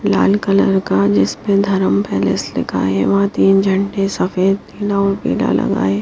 लाल colour का जिस पर धर्म पेलेस लिखा है वहां तीन झंडे सफेद नीला पीला लगा है।